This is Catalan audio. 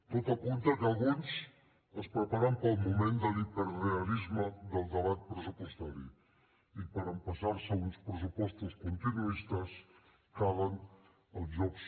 tot apunta que alguns es preparen per al moment de l’hiperrealisme del debat pressupostari i per empassar se uns pressupostos continuistes calen els jocs